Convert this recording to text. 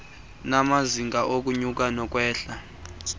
namazinga okunyuka nokwehla